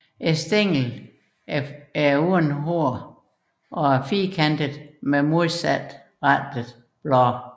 Stænglen er hårløs og firkantet med modsatte blade